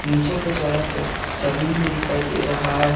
पीछे के तरफ एक जमीन भी दिखाई दे रहा है।